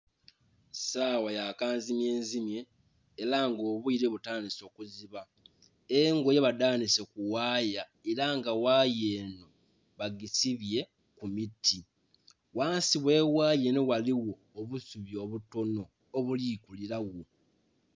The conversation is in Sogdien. Sawa ya kanzimye nzimye era nga obwire butandhise okuziba, engoye badhanike ku ghaya era nga ghaya enho bagisibye ku miti, ghansi ghe ghaya enho ghaligho obusubi obutonho obuli kulilagho.